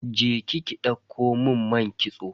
Je ki ki ɗauko mun man kitso.